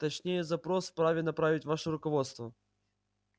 точнее запрос вправе направить ваше руководство